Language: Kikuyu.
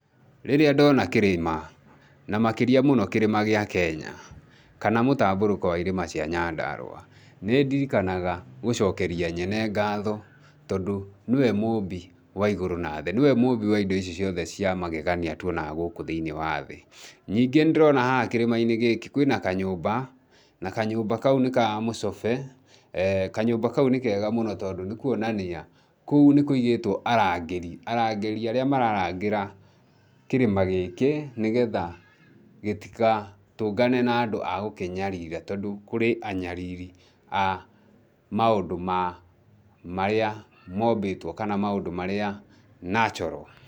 Rĩrĩa ndona kĩrĩma ,na makĩria mũno kĩrĩma gĩa Kenya, kana mũtambũrũko wa irĩma cia Nyandarũa, nĩ ndirikanaga gũcokeria Nyene ngaatho tondũ nĩ we mũmbi wa igũrũ na thĩ, nĩ we mũmbi wa indo ici ciothe cia magegania tũonaga gũkũ thĩinĩ wa thĩ. Ningĩ nĩndĩrona haha kĩrĩma-inĩ gĩkĩ kwĩ na kanyũmba, na kanyũmba kau nĩ ka mũcobe, kanyũmba kau nĩ kega mũno tondũ nĩ kuonania kũu nĩ kũigĩtwo arangĩri, arangĩri arĩa mararangĩra kĩrĩma gĩkĩ nĩ getha gĩtikatũngane na andũ a gũkĩnyarira tondũ kũrĩ anyariri a maũndũ ma marĩa mombĩtwo kana maũndũ marĩa natural.